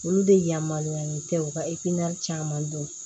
Olu de yamaruyalen tɛ u ka caman dɔn